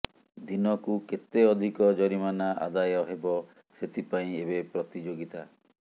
ଦିନକୁ କେତେ ଅଧିକ ଜରିମାନା ଆଦାୟ ହେବ ସେଥିପାଇଁ ଏବେ ପ୍ରତିଯୋଗିତା